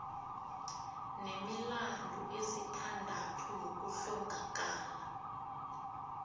nemilandu esithandathu yokuhlongakala